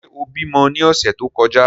Ṣe o bimọ ni ọsẹ to kọja?